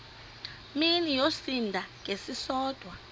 mini yosinda ngesisodwa